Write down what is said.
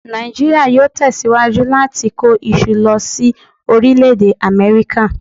Nàìjíríà yóò tẹ̀síwájú láti kó iṣu lọ sí Orílẹ̀-Èdè Amẹ́ríkà